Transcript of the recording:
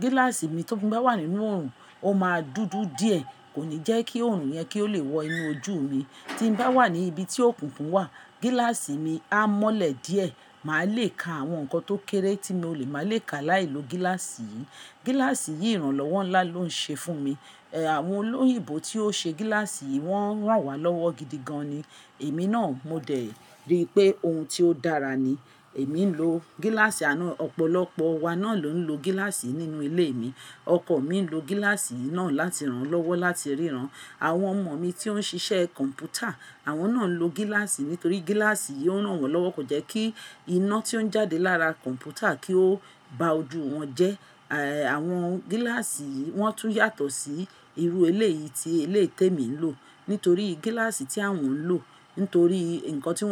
Gíláàsì mi tí mo bá wà nínú oòrùn ó máa dúdú díẹ̀. Kò ní jẹ́ kí oòrùn yẹn kí ó lè wọ inú ojú mi. Tí n bá wà ní ibi tí òkunfun wà gíláàsì mi á mọ́lẹ̀ díẹ̀. Màá lè ka àwọn nǹkan tó kéré tí mo lè má lè ka láìlo gíláàsì yìí. Gíláàsì yìí ìrànlọ́wọ́ ńlá ló ń ṣe fún mi. Ẹ, àwọn olóyìnbó tí ó ṣe gíláàsì yìí wọ́n ràn wá lọ́wọ́ gidi gan ni. Èmi náà mo dẹ̀ rí pé ohun tí ó dára ni. Èmi ń lo gíláàsì àná, ọ̀pọ̀lọpọ̀ wa náà ló ń lo gíláàsì nínú ilé mi. Ọkọọ̀ mi ń lo gíláàsì yìí náà láti ràn án lọ́wọ́ láti ríran. Àwọn ọmọ mi tí ó ń ṣiṣẹ́ kọ̀m̀pútà àwọn náà ń lo gíláàsì nítorí gíláàsì yìí ó ràn wọ́n lọ́wọ́ kó jẹ́ kí iná tí ó ń jáde lára kọ̀m̀pútà kí ó ba ojú wọn jẹ́. Ẹ, àwọn gíláàsì yìí wọ́n tún yàtọ̀ sí irú gíláàsì yìí tí elétẹ mi ń lò. Nítorí gíláàsì tí àwọn ń lò nítorí nǹkan tí wọ́n.